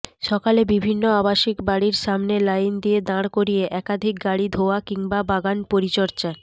সকালে বিভিন্ন আবাসিক বাড়ির সামনে লাইন দিয়ে দাঁড় করিয়ে একাধিক গাড়ি ধোয়া কিংবা বাগান পরিচর্যার